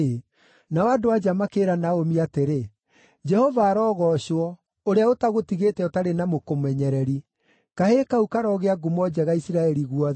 Nao andũ-a-nja makĩĩra Naomi atĩrĩ, “Jehova arogoocwo, ũrĩa ũtagũtigĩte ũtarĩ na mũkũmenyereri. Kahĩĩ kau karogĩa ngumo njega Isiraeli guothe!